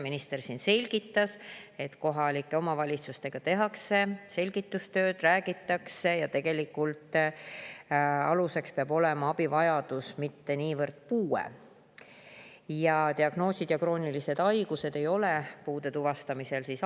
Minister selgitas, et kohalikele omavalitsustele tehakse selgitustööd, räägitakse, et tegelikult peab aluseks olema abivajadus, mitte niivõrd puue, ning diagnoosid ja kroonilised haigused ei ole puude tuvastamisel aluseks.